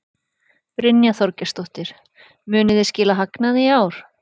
Brynja Þorgeirsdóttir: Munið þið skila hagnaði í ár?